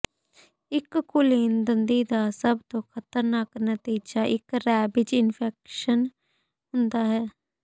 ਇੱਕ ਕੁਲੀਨ ਦੰਦੀ ਦਾ ਸਭ ਤੋਂ ਖ਼ਤਰਨਾਕ ਨਤੀਜਾ ਇੱਕ ਰੇਬੀਜ਼ ਇਨਫੈਕਸ਼ਨ ਹੁੰਦਾ ਹੈ